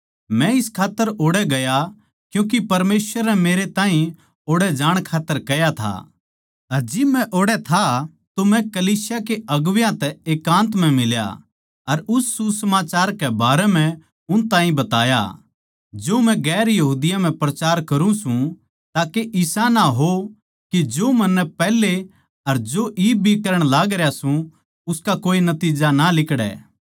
मै इस खात्तर ओड़ै गया क्यूँके परमेसवर नै मेरे ताहीं ओड़ै जाण खात्तर कह्या था अर जिब मै ओड़ै था तो मै कलीसिया के अगुवां तै एकान्त म्ह मिला अर उस सुसमाचार के बारें म्ह उन ताहीं बताया जो मै गैर यहूदियाँ म्ह प्रचार करुँ सूं ताके जो इसा ना हो के जो मन्नै पैहले अर जो इब भी करण लागरया सूं उसका कोए नतिज्जा ना लिकड़ै